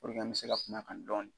Puruke an mɛ se ka kum'a kan dɔɔni.